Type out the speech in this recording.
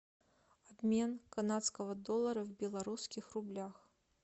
обмен канадского доллара в белорусских рублях